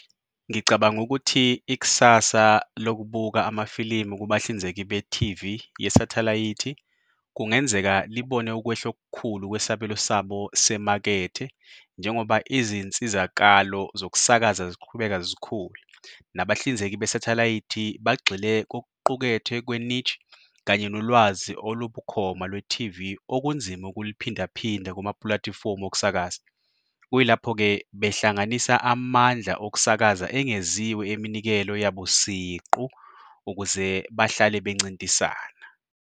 Ngicabanga ukuthi ikusasa lokubuka amafilimu kubahlinzeki be-T_V yesathelayithi kungenzeka libone ukwehla okukhulu kwesabelo sabo semakethe njengoba izinsizakalo zokusakaza ziqhubeka zikhuluma, nabahlinzeki besathelayithi bagxile kokuqukethwe kwe-niche kanye nolwazi olubukhuma lwe-T_V okunzima ukuliphindaphinda kumapulathifomu okusakaza. Kuyilapho-ke behlanganisa amandla okusakaza engeziwe eminikelo yabo siqu ukuze bahlale bencintisana.